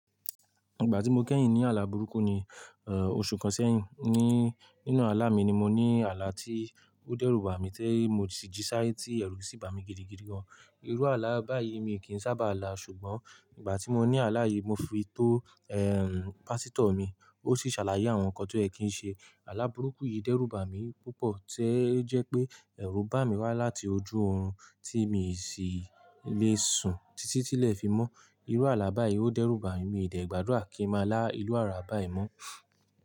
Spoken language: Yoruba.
Ìgbà tí mo kẹ́yìn ní àlá burúkú ni, oṣù kan sẹ́yìn, ní nínú àlá mi ni mo ní àlá tí ó dẹ́rùbà mi ti mo sì jí sáìye ẹrù sì bà mí gidigidi gan. Irú àlá báyìí mi kì í sábà là, ṣùgbọ́n ìgbà tí mo ní àlá yìí mo fi tó ehn pásítọ̀ mi, ó sì ṣàlàyé àwọn nǹkan tó ẹ́ kí ń ṣe. Àlá burúkú yìí dẹ́rùbà mi púpọ̀ tí o jẹ́ pé ẹ̀rù bà mí wá láti ojú orun tí mi sì lè sùn títí tí ilẹ̀ fi mọ́. Irú àlá báyìí ó dẹ́rùbà mi, mi ò dẹ gbàdúrà kí n má là irú àlá báyìí mọ́.